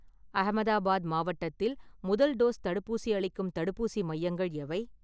அஹமதாபாத் மாவட்டத்தில் முதல் டோஸ் தடுப்பூசி அளிக்கும் தடுப்பூசி மையங்கள் எவை?